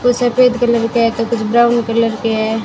कुछ सफेद कलर का है तो कुछ ब्राउन कलर के हैं।